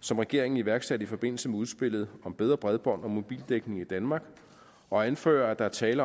som regeringen iværksatte i forbindelse med udspillet om bedre bredbånd og mobildækning i danmark og anfører at der er tale